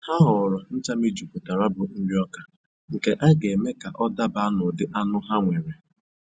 Ha họọrọ ncha mejupụtara bụ nriọka nke a ga-eme ka ọ daba n'ụdị anụ ahụ ha nwere